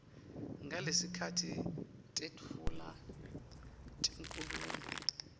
ngalesikhatsi tetfula tinkhulumo